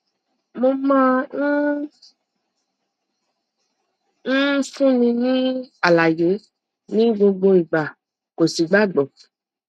mo máa ń ń fúnni ní àlàyé ní gbogbo ìgbà kò sì gbàgbọ